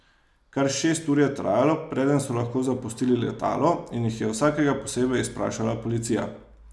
Kar šest ur je trajalo, preden so lahko zapustili letalo in jih je vsakega posebej izprašala policija.